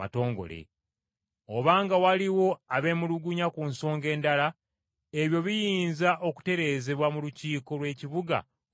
Obanga waliwo abeemulugunya ku nsonga endala, ebyo biyinza okutereezebwa mu Lukiiko lw’Ekibuga olwa bulijjo.